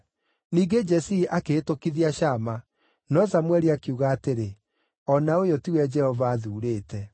Ningĩ Jesii akĩhĩtũkithia Shama, no Samũeli akiuga atĩrĩ, “O na ũyũ tiwe Jehova athuurĩte.”